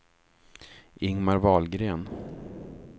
Ingmar Wahlgren